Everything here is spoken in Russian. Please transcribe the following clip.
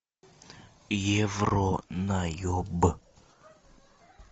евронаеб